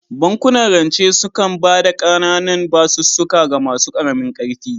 Bankunan rance sukan ba da ƙananun basussuka ga masu ƙaramin ƙarfi